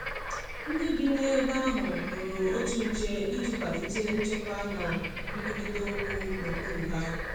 Ndi bi n'ebe ahu kpụrụ otụ nche ịjị kwalite nchekwa na nkwụrita okwu na okpụrụ ha